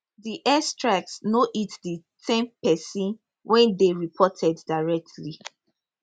di air strikes no hit di ten pesin wey dey reported directly